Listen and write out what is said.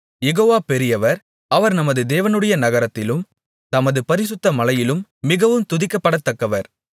யெகோவா பெரியவர் அவர் நமது தேவனுடைய நகரத்திலும் தமது பரிசுத்த மலையிலும் மிகவும் துதிக்கப்படத்தக்கவர்